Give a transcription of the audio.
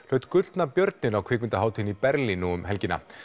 hlaut gullna björninn á kvikmyndahátíðinni í Berlín nú um helgina